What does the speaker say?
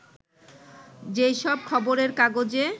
যে সব খবরের কাগজে